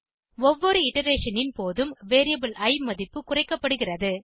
ஒவ்வொரு இட்டரேஷன் னின் போதும் வேரியபிள் இ மதிப்பு குறைக்கப்படுகிறது